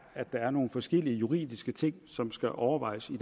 at der er nogle forskellige juridiske ting som skal overvejes i